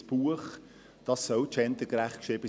Ein Buch soll gendergerecht geschrieben sein.